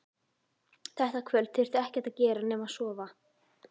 Þetta kvöld þurfti ekkert að gera nema sofa.